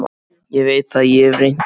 Ég veit það, ég hef reynt það.